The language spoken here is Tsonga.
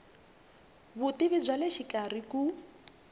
vutivi bya le xikarhi ku